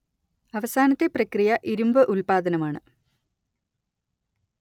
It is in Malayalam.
അവസാനത്തെ പ്രക്രിയ ഇരുമ്പ് ഉല്പാദനമാണ്